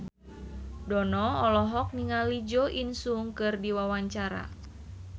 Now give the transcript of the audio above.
Dono olohok ningali Jo In Sung keur diwawancara